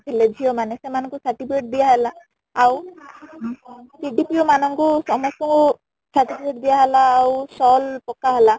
କରି ଥିଲେ ଝିଅ ମାନେ ସେମାନ ଙ୍କୁ certificate ଦିଆ ହେଲା ଆଉ ମାନ ଙ୍କୁ ସମସ୍ତ ଙ୍କୁ certificate ଦିଆ ହେଲା ଆଉ shawl ପକା ହେଲା